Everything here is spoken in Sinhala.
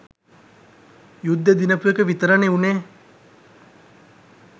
යුද්දෙ දිනපු එක විතරනෙ වුනේ.